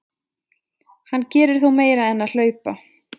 Hann gerir þó meira en að hlaupa.